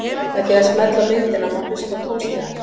Með því að smella á myndina má hlusta á tónstigann.